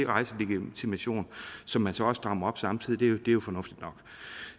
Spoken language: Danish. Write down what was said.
rejselegitimation som man så strammer op samtidig og det er jo fornuftigt nok